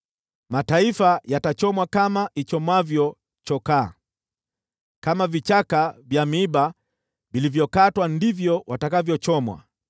Mataifa yatachomwa kama ichomwavyo chokaa, kama vichaka vya miiba vilivyokatwa ndivyo watakavyochomwa.”